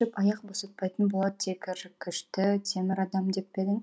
аяқ босатпайтын болат тегіршікті темір адам деп пе едің